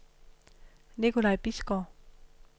Nikolaj Bisgaard